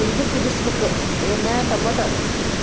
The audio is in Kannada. ಇದು ಕುದಿಸ್ಬೇಕ್ ಏನ ಟೊಮೆಟೊ.